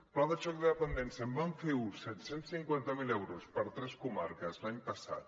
pla de xoc de dependència en vam fer un set cents i cinquanta miler euros per a tres comarques l’any passat